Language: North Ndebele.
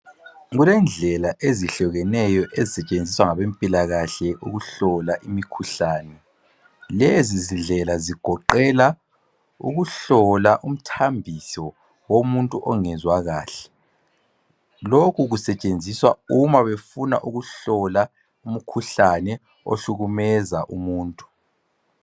Kulendlela ezehlukeneyo ezisetshenziswa ngabezempilakahle ukuhlola imikhuhlane. Lezindlela zigoqela ukuhlola umthambiso womuntu ongezwa kahle. Lokhu kusetshenziswa uma befuna ukuhlola umkhuhlane ohlukumeza umuntu.